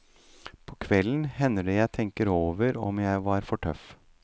På kvelden hender det jeg tenker over om jeg var for tøff.